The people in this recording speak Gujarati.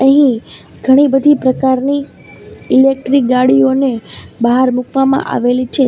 અહીં ઘણી બધી પ્રકારની ઈલેક્ટ્રીક ગાડીઓને બહાર મુકવામાં આવેલી છે.